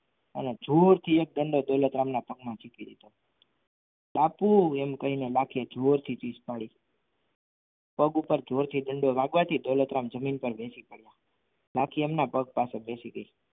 અને જોરથી એક દંડો દોલતરામના પગમાં માર્યો બાપુ એમ કહીને રાખીએ જોરથી ચીઝ પાડી પગ ઉપર જોરથી દંડો વાગવાથી દોલતરામ જમીન પર બેસી ગયા લાખી એમના પગ પાછળ બેસી ગઈ.